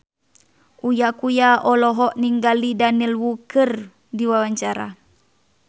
Uya Kuya olohok ningali Daniel Wu keur diwawancara